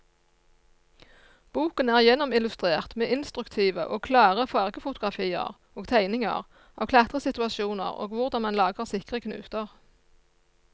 Boken er gjennomillustrert med instruktive og klare fargefotografier og tegninger av klatresituasjoner og hvordan man lager sikre knuter.